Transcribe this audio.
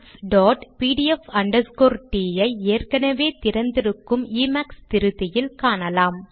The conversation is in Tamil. mathspdf t ஐ ஏற்கெனெவே திறந்திருக்கும் எமாக்ஸ் திருத்தியில் காணலாம்